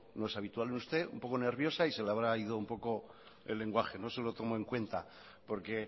no es habitual en usted un poco nerviosa y se le habrá ido un poco el lenguaje no se lo tomo en cuenta porque